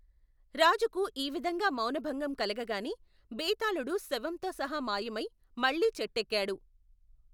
రాజుకు ఈ విధంగా మౌనభంగం కలగగానే, బేతాళుడు శవంతో సహా మాయమై, మళ్ళీ చెట్టెక్కాడు.